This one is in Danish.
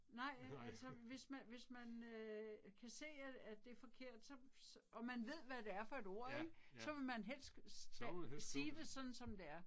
Nej altså, hvis man hvis man øh kan se at at det er forkert så og man ved hvad det er for et ord ik, så vil man helst sige det sådan som det er